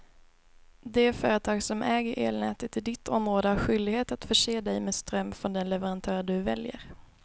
Det företag som äger elnätet i ditt område har skyldighet att förse dig med ström från den leverantör du väljer.